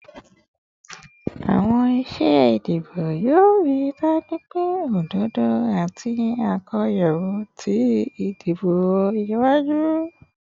Awọn iṣe idibo yoo rii daju pe ododo ati akoyawo ti idibo iwaju